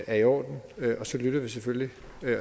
er i orden og så lytter vi selvfølgelig